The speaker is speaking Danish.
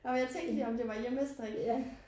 Og jeg tænkte lige om det var hjemmestrik